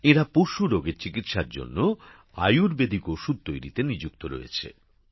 এঁরা পশু রোগের চিকিৎসার জন্য আয়ুর্বেদিক ওষুধ তৈরিতে নিযুক্ত রয়েছে